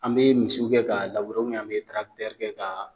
An be misiw kɛ k'a labure wɛrɛ an bɛ ubiyɛn an be tirakitɛri kɛ k'a